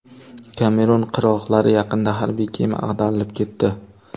Kamerun qirg‘oqlari yaqinida harbiy kema ag‘darilib ketdi.